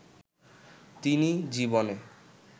তিনি জীবনে